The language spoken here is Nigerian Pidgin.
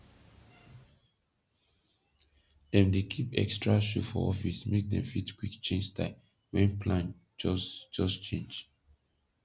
dem dey kip ekstra shoe for office make dem fit kwik change style wen plan jos jos change